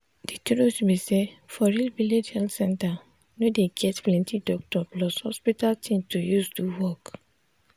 de truth be sayfor real village health center no dey get plenti doctor plus hospital thing to use do work.